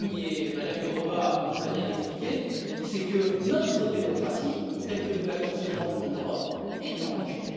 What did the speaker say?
King et Mme Jourová ont très bien expliqué, c'est que notre démocratie, telle que nous la concevons en Europe, est en danger.